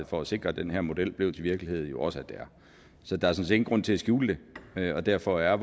for at sikre at den her model blev til virkelighed jo også at det er så der er sådan grund til at skjule det og derfor er